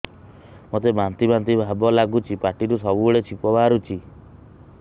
ମୋତେ ବାନ୍ତି ବାନ୍ତି ଭାବ ଲାଗୁଚି ପାଟିରୁ ସବୁ ବେଳେ ଛିପ ବାହାରୁଛି